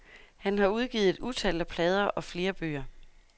Han har udgivet et utal af plader og flere bøger.